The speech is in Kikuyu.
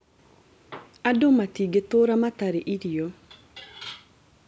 Andũ matigĩtũra matarĩ irio